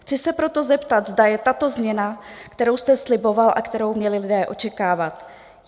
Chci se proto zeptat, zda je tato změna, kterou jste sliboval a kterou měli lidé očekávat?